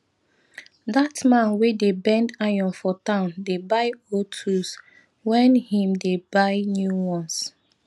that man wey dey bend iron for town dey buy old tools when him dey buy new ones